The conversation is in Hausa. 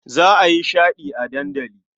Za a yi shaɗi a dandali.